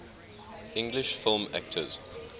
english film actors